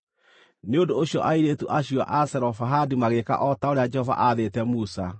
Nĩ ũndũ ũcio airĩtu acio a Zelofehadi magĩĩka o ta ũrĩa Jehova aathĩte Musa.